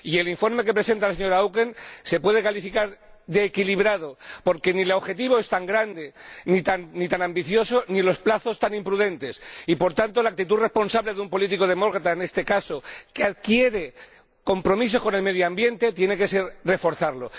Y el informe que presenta la señora Auken se puede calificar de equilibrado porque ni el objetivo es tan grande ni tan ambicioso, ni los plazos tan imprudentes y, por tanto, la actitud responsable de un político demócrata en este caso, que adquiere compromisos con el medio ambiente, tiene que ser reforzarlo.